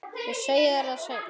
Ég segi þér það seinna.